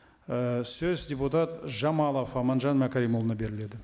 ыыы сөз депутат жамалов аманжан мәкәрімұлына беріледі